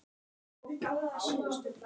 Ég nefndi þetta við hann.